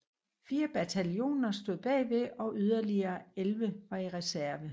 Fire bataljoner stod bagved og yderligere 11 var i reserve